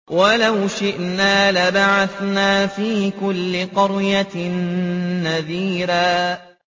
وَلَوْ شِئْنَا لَبَعَثْنَا فِي كُلِّ قَرْيَةٍ نَّذِيرًا